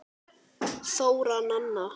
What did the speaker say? Þóra Nanna.